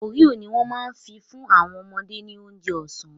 Oreo ni wọ́n ma fi fún àwọn ọmọdé ní oúnjẹ ọ̀sán